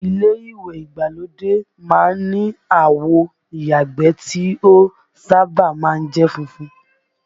Ilé ìwẹ̀ ìgbàlódé má ń ni àwo ìyàgbẹ́ tí ó sábà má ń jẹ́ funfun